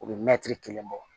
U bɛ mɛtiri kelen bɔ